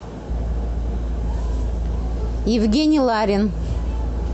евгений ларин